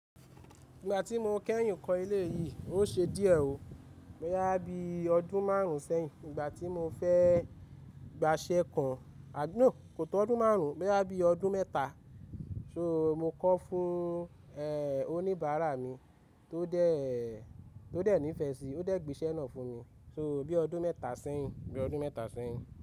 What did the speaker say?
Ìgbà tí mo kẹ́yìn kọ ilé yìí, ó ṣe díẹ̀ o boya bí ọdún márùn-ún sẹ́yìn. Ìgbà tí mo fẹ́ gba iṣẹ́ kan, à no, kò tó ọdún márùn-ún, boyá bí ọdún mẹ́ta. So mo kọ fún, ẹ, oníbàárà mi tó dé, tó dé níìfẹ̀ sí i, ó dẹ̀ gbé iṣẹ́ náà fún mi. So bí ọdún mẹ́ta sẹ́yìn, bí ọdún mẹ́ta sẹ́yìn.